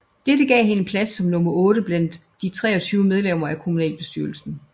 Dette gav hende en plads som nummer otte blandt de 23 medlemmer af kommunalbestyrelsen